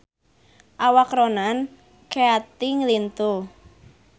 Awak Ronan Keating lintuh